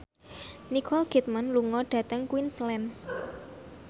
Nicole Kidman lunga dhateng Queensland